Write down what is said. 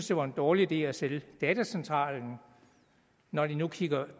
det var en dårlig idé at sælge datacentralen når de kigger